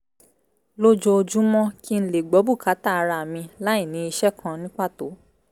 lójoojúmọ́ kí n lè gbọ́ bùkátà ara mi láì ní iṣẹ́ kan ní pàtó